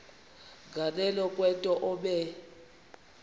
nganeno kwento obe